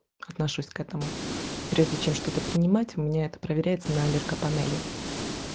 отношусь к этому и прежде чем что-то принимать у меня это проверяется на аллергопанели